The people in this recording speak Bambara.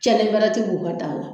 Cɛni bɛrɛ ti b'u ka daa la